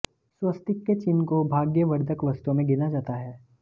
स्वस्तिक के चिह्न को भाग्यवर्धक वस्तुओं में गिना जाता है